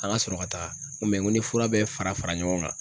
An ka sɔrɔ ka taga ,n ko n ko ni fura be fara fara ɲɔgɔn kan